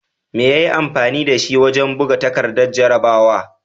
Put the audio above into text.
Me ya yi amfani da shi wajen buga takardar jarrabawa?